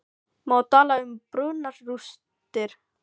Má tala um brunarústir?